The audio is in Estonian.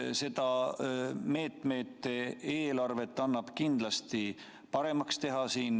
Seda meetmete eelarvet annab kindlasti paremaks teha.